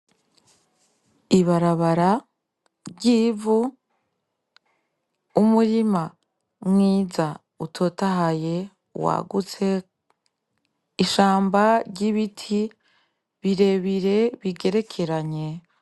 Ibarabara ry'ivu umurima mwiza utotahaye wagutse ishamba ry'ibiti birebire bigerekeranye.